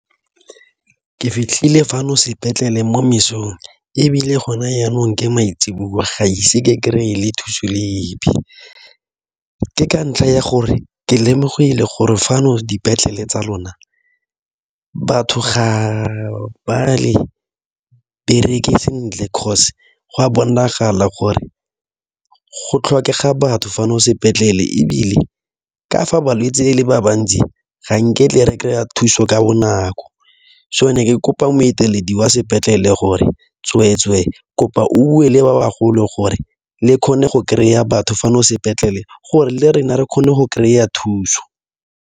Ke fitlhile fano sepetlele mo mesong ebile gona jaanong ke maitseboa ga ise ke kry-e le thuso le ebe, ke ka ntlha ya gore ke lemogile gore fano dipetlele tsa lona batho ga ba le bereke sentle go a bonagala gore go tlhokega batho fana sepetlele ebile ka fa balwetse e le ba bantsi ga nke tle re kry-a thuso ka bonako so be ke kopa boeteleding ba sepetlele gore tsweetswe kopa o bue le ba bagolo gore le kgone go kry-a batho fano sepetlele gore le rona re kgone go kry-a thuso.